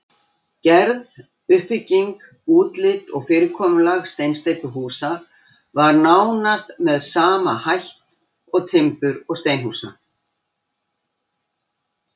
Gerð, uppbygging, útlit og fyrirkomulag steinsteypuhúsa var nánast með sama hætt og timbur- og steinhúsa.